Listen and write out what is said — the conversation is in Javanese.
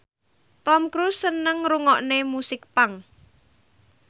Tom Cruise seneng ngrungokne musik punk